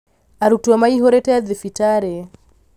arutwo maihũrĩte thibitarĩ